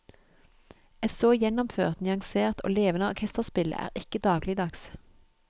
Et så gjennomført, nyansert og levende orkesterspill er ikke dagligdags.